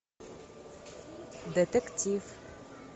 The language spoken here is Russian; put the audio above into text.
детектив